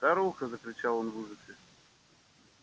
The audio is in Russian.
старуха закричал он в ужасе